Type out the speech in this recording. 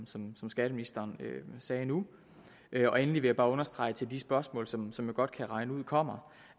som som skatteministeren sagde nu endelig vil jeg bare understrege til de spørgsmål som som jeg godt kan regne ud kommer